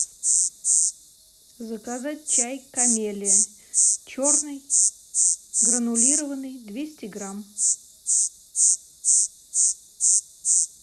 заказать чай камелия черный гранулированный двести грамм